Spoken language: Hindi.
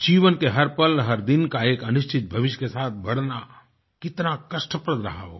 जीवन के हर पल हर दिन का एक अनिश्चित भविष्य के साथ बढ़ना कितना कष्टप्रद रहा होगा